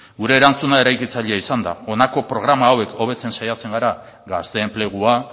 gure erantzuna eraikitzailea izan da honako programa hauek hobetzen saiatzen gara gazte enplegua